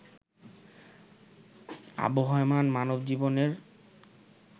আবহমান মানবজীবনের